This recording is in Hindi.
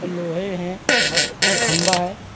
लोहे है और खम्भा है।